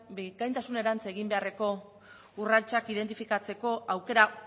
bikaintasunerantz egin beharreko urratsak identifikatzeko aukera